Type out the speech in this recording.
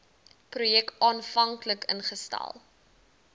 projek aanvanklik ingestel